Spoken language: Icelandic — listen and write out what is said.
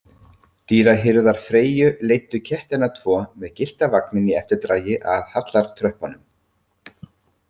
Dýrahirðar Freyju leiddu kettina tvo með gyllta vagninn í eftirdragi að hallartröppunum.